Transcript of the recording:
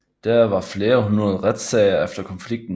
Der var flere hundrede retssager efter konflikten